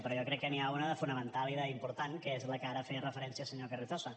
però jo crec que n’hi ha una de fonamental i d’important que és a la que ara feia referència el senyor carrizosa